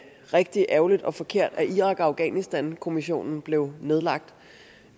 rigtig ærgerligt og forkert at irak og afghanistankommissionen blev nedlagt